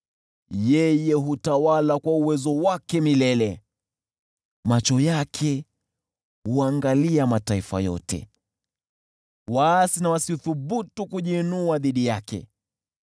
Yeye hutawala kwa uwezo wake milele, macho yake huangalia mataifa yote: waasi wasithubutu kujiinua dhidi yake.